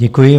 Děkuji.